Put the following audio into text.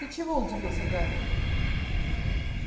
ты чего удивился гарри